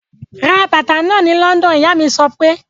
Ra bàtà náà ni London! Ìyá mí sọ pé.